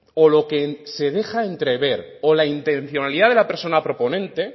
o lo que se deja entrever o la intencionalidad de la persona proponente